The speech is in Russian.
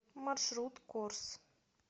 маршрут корс